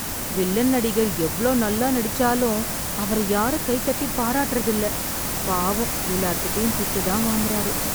Villain நடிகர் எவ்ளோ நல்லா நடிச்சாலும் அவரை யாரும் கை தட்டி பாராட்டுறது இல்ல... பாவம் எல்லார்கிட்டயும் திட்டுதான் வாங்கறாரு.